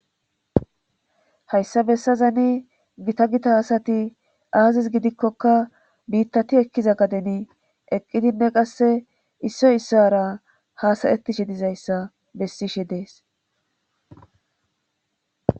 Hayssa bessazani gita gita hasati aazis gidikkokka biittati ekkiza gadeni eqqidinne qasse issoy issara hasayettishe dizayssa bessishe dees.